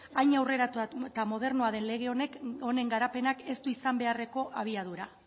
hain aurreratuak eta modernoa den lege honen garapenak ez du izan beharreko abiadura